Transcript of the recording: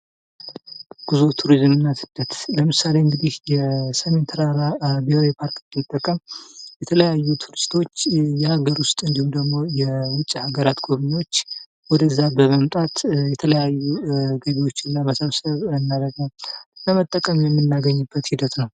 ጉዞ ፥ቱሪዝምና ስደት ለምሳሌ እንግዲህ የሴሜን ተራራ ብሔራዊ ፓርክ ብንጠቀም የተለያዩ ቱሪስቶች የሀገር ውስጥ እንዲሁም ደግሞ የውጭ ሃገራት ጎብኚዎች ወደዛ በመምጣት የተለያዩ ገቢዎችን ለመሰብሰብ እና ደግሞ ለመጠቀም የምናገኝበት ሂደት ነው።